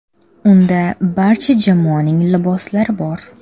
Unda barcha jamoaning liboslari bor.